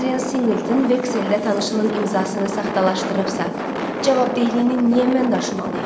Adrian Singleton vexeldə tanışının imzasını saxtalaşdırıbsa, cavabdehliyini niyə mən daşımalıyam?